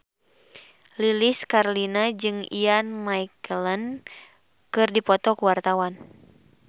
Lilis Karlina jeung Ian McKellen keur dipoto ku wartawan